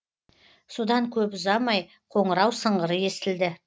содан көп ұзамай қоңырау сыңғыры естілді